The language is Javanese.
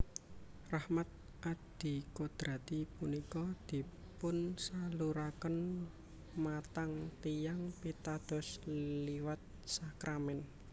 Rahmat adikodrati punika dipunsaluraken matang tiyang pitados liwat sakramèn